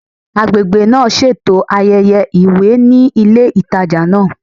Agbègbè náà ṣètò ayẹyẹ ìwé ní ilé ìtajà náà